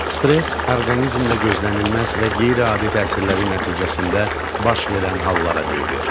Stress orqanizmdə gözlənilməz və qeyri-adi təsirləri nəticəsində baş verən hallara deyilir.